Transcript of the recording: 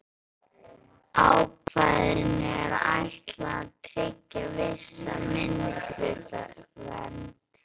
Ákvæðinu er ætlað að tryggja vissa minnihlutavernd.